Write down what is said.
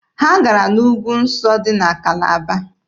Ha gara n'ugwu nsọ dị na Kalaba.